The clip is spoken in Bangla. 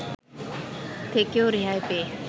থেকেও রেহাই পেয়ে